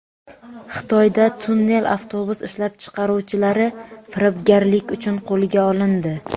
Xitoyda tunnel avtobus ishlab chiqaruvchilari firibgarlik uchun qo‘lga olindi.